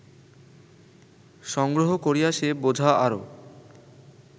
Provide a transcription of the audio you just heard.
সংগ্রহ করিয়া সে বোঝা আরও